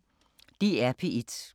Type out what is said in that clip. DR P1